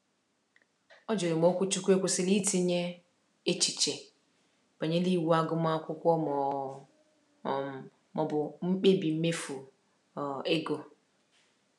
Ọ jụrụ ma okwuchukwu kwesịrị itinye echiche banyere iwu agụmakwụkwọ ma ọ um bụ mkpebi mmefu um ego.